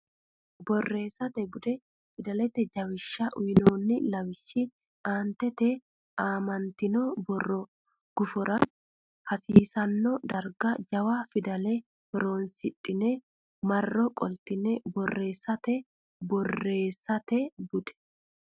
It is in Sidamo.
Borreessate Bude Fidalete Jawishsha uynoonni lawishshi aantete aamantino borrote gufora haasiisanno darga jawa fidale horonsidhine marro qoltine borreesse Borreessate Bude.